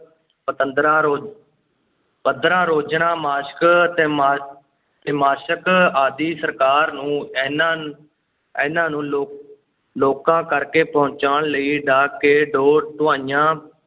ਪਤੰਦਰਾਂ ਰੋ~ ਪੰਦਰਾਂ ਰੋਜ਼ਨਾ ਮਾਸਕ, ਤੈਮਾ~ ਤੈਮਾਸਕ ਆਦਿ ਸਰਕਾਰ ਨੂੰ ਇਨ੍ਹਾਂ ਇਨ੍ਹਾ ਨੂੰ ਲੋ~ ਲੋਕਾਂ ਕਰਕੇ ਪਹੁੰਚਾਉਣ ਲਈ ਡਾਕ